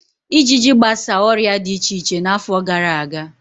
Ịjịjị gbasa ọrịa di iche iche n'afọ gara aga.